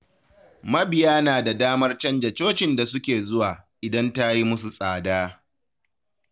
Mabiya na da damar canja cocin da suke zuwa, idan ta yi musu tsada.